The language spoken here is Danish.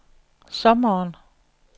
sommeren